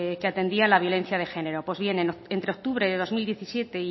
que atendían la violencia de género pues bien entre octubre de dos mil diecisiete